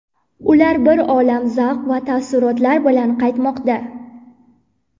Ular bir olam zavq va taassurotlar bilan qaytmoqda.